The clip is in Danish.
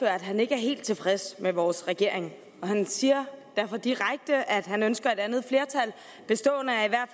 at han ikke er helt tilfreds med vores regering og han siger derfor direkte at han ønsker et andet flertal bestående af i hvert